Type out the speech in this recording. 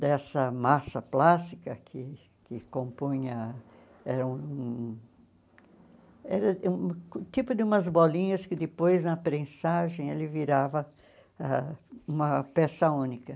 dessa massa plástica que que compunha... Era um era um tipo de umas bolinhas que depois, na prensagem, ele virava ãh uma peça única.